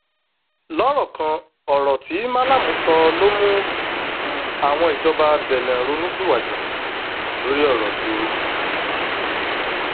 lọrọ kan ọrọ tí malami sọ ló mú um àwọn ìjọba benne ronú pìwàdà um lórí ọrọ ìgboro